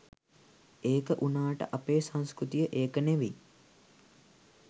ඒක වුනාට අපේ සංස්කෘතිය ඒක නෙවි